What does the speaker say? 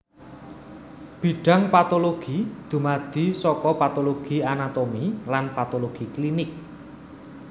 Bidhang patologi dumadi saka patologi anatomi lan patologi klinik